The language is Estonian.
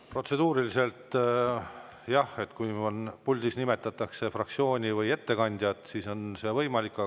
Protseduuriliselt jah, kui puldis nimetatakse fraktsiooni või ettekandjat, siis on see võimalik.